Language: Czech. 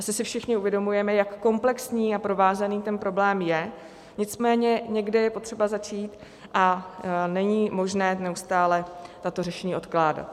Asi si všichni uvědomujeme, jak komplexní a provázaný ten problém je, nicméně někde je potřeba začít a není možné neustále tato řešení odkládat.